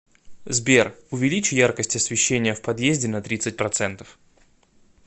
сбер увеличь яркость освещения в подъезде на тридцать процентов